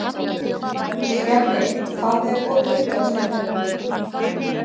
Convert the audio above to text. Stjarney, hvað er opið lengi á sunnudaginn?